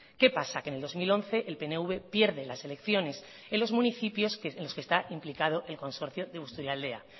qué pasa que en el dos mil once el pnv pierde las selecciones en los municipios en los que está implicado el consorcio de busturialdea